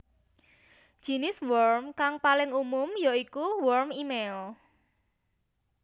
Jinis worm kang paling umum ya iku worm émail